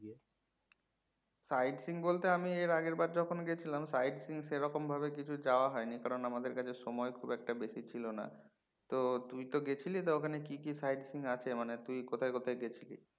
side seeing বলতে এর আগের বার আমি যখন গেছিলাম side seeing সেরকম ভাবে কিছু যাওয়া হয় নি কারণ আমাদের কাছে সময় খুব একটা বেশি ছিল না তো তুই তো গেছিলি তা ওখানে কি কি side seeing আছে মানে তুই কোথায় কোথায় গেছিলি?